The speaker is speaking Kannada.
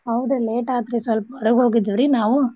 ಹೌದ್ late ಆತ್ರೀ ಸಲ್ಪ ಹೊರಗ್ ಹೋಗಿದ್ವಿ ರೀ ನಾವು.